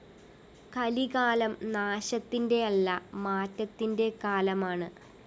കലികാലം നാശത്തിന്റെയല്ല മാറ്റത്തിന്റെ കാലമാണ്